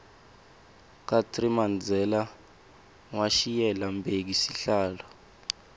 kartsi mandela washiyela mbheki sihlalo